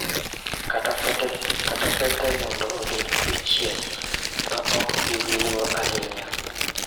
Kata fete mondo obed odiechieng� ma ok bi wilgo ahinya.